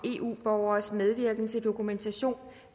ordet